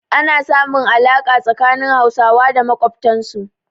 Ana samun alaƙa tsakanin Hausawa da makwabtansu.